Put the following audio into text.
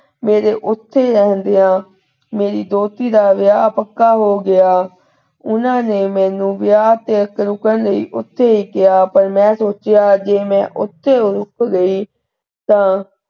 ਮੇਰੇ ਉਥੇ ਰਹਿੰਦੀਆਂ ਮੇਰੀ ਦੋਹਤੀ ਦਾ ਵਿਯਾਹ ਪੱਕਾ ਹੋਗਿਆ। ਓਹਨਾਂ ਨੇ ਮੈਨੂੰ ਵਿਆਹ ਤੇ ਰੁਕਣ ਲਈ ਉਥੇ ਹੀ ਕਿਹਾ ਪਰ ਮੈਂ ਸੋਚਿਆ ਜੀ ਮੈਂ ਉਥੇ ਰੁੱਕ ਗਈ ਤਾਂ,